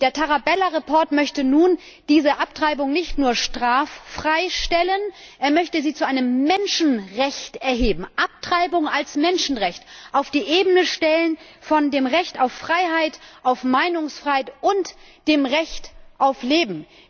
Der Bericht Tarabella möchte nun diese Abtreibung nicht nur straffrei stellen, er möchte sie zu einem Menschenrecht erheben Abtreibung als Menschenrecht auf die gleiche Ebene stellen wie das Recht auf Freiheit, das Recht auf Meinungsfreiheit und das Recht auf Leben!